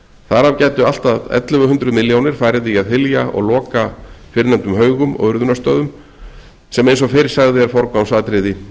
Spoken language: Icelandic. þar af gætu allt að ellefu hundruð milljónir farið í að hylja og loka fyrrnefndum haugum og urðunarstöðum sem eins og fyrr sagði er forgangsatriði